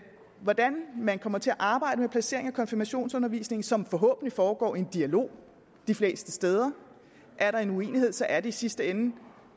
hvordan man kommer til at arbejde med placeringen af konfirmationsundervisningen som forhåbentlig foregår i en dialog de fleste steder er der uenighed er det i sidste ende